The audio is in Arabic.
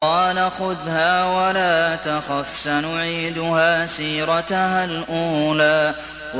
قَالَ خُذْهَا وَلَا تَخَفْ ۖ سَنُعِيدُهَا سِيرَتَهَا الْأُولَىٰ